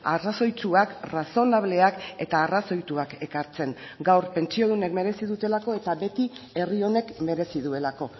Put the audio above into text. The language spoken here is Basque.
arrazoitsuak razonableak eta arrazoituak ekartzen gaur pentsiodunek merezi dutelako eta beti herri honek merezi duelako